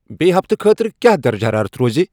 بییِہ ہفتہٕ خٲطرٕ کیا درجہٕ حرارت روزِ ؟